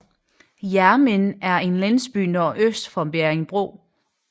Hjermind er en landsby nordøst for Bjerringbro